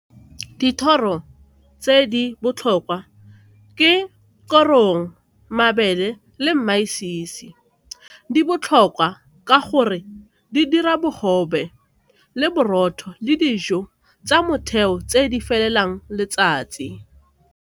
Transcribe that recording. Dithoro tse di botlhokwa ke korong, mabele le . Di botlhokwa ka gore di dira bogobe le borotho le dijo tsa motheo tse di felelang letsatsi.